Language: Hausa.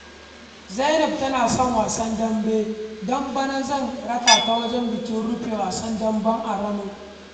Zainab tana son wasan dambe, don bana zan rakata wajen bikin rufe wasan dambe a Rano